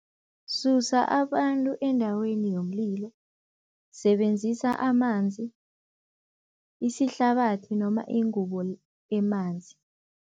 Susa abantu endaweni yomlilo, sebenzisa amanzi, isihlabathi noma ingubo emanzi.